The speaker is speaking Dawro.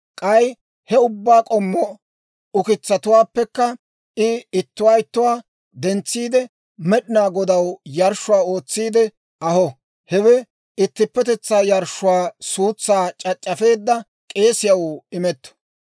K'ay he ubbaa k'ommo ukitsatuwaappekka I ittuwaa ittuwaa dentsiide, Med'inaa Godaw yarshshuwaa ootsiide aho. Hewe ittippetetsaa yarshshuwaa suutsaa c'ac'c'afeedda k'eesiyaw imetto.